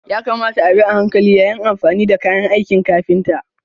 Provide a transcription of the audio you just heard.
Ya kamata a bi a hankali yayin amfani da kayan aikin kafinta.